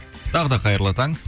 тағы да қайырлы таң